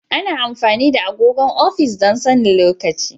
Ana amfani da agogon ofis don sanin lokaci.